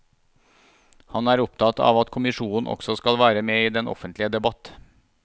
Han er opptatt av at kommisjonen også skal være med i den offentlige debatt.